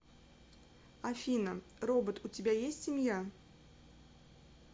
афина робот у тебя есть семья